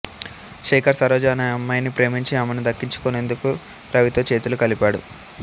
శేఖర్ సరోజ అనే అమ్మాయిని ప్రేమించి అమెను దక్కించుకొనేందుకు రవితో చేతులు కలిపాడు